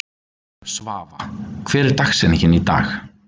Svafa, hver er dagsetningin í dag?